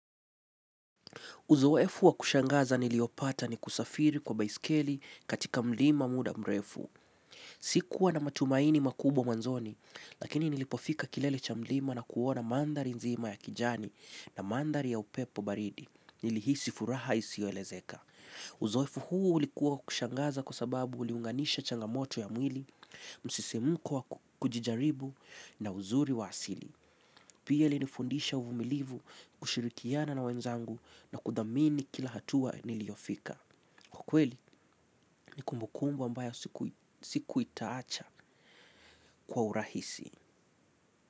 Uzoefu wa kushangaza niliopata ni kusafiri kwa baiskeli katika mlima muda mrefu. Sikuwa na matumaini makubwa mwanzoni, lakini nilipofika kilele cha mlima na kuona mandhari nzima ya kijani na mandhari ya upepo baridi. Nilihisi furaha isiyoelezeka. Uzoefu huu ulikuwa wa kushangaza kwa sababu uliunganisha changamoto ya mwili, msisimko wa kujijaribu na uzuri wa asili. Pia ilinifundisha uvumilivu kushirikiana na wenzangu na kuthamini kila hatua niliyofika kwa kweli ni kumbukumbu ambayo siku itaacha kwa urahisi.